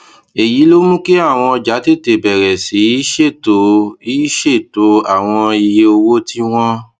èyí ló mú kí àwọn ọjà tètè bèrè sí í ṣètò í ṣètò àwọn iye owó tí wón